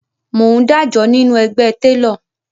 Mò ń dájọ nínú ẹgbẹ́ télọ̀